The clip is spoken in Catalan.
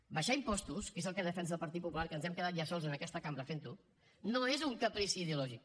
abaixar impostos que és el que defensa el partit popular que ens hem quedat ja sols en aquesta cambra fent ho no és un caprici ideològic